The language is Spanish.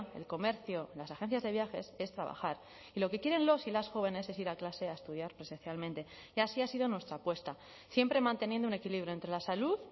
el comercio las agencias de viajes es trabajar y lo que quieren los y las jóvenes es ir a clase a estudiar presencialmente y así ha sido nuestra apuesta siempre manteniendo un equilibrio entre la salud